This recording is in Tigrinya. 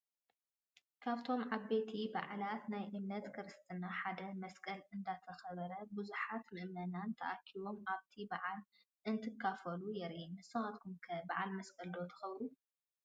ካብቶም ዓበይቲ በዓላት ናይ እምነት ክርስትና ሓደ መስቀል እንዳተኸበረን ብዙሓት ምእመናን ተረኺቦም ኣብቲ በዓል እንትካፈሉን የርኢ፡፡ ንስኻትኩም ከ በዓል መስቀል ዶ ተኽብሩ?